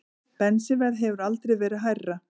Bensínverð hefur aldrei verið hærra